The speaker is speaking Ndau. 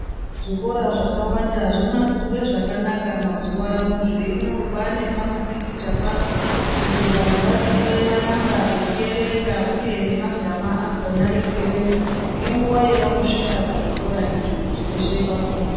Zvikora zvakawanda zvonasirwe zvakanaka mazowano zveinyorwa nepamupikicha pazvo kuti vantu vaziye manamba ekuerenga uye nemagama akona ekuerenga ngenguwa yavanosvike pazvikora izvi kuti veshe vafunde.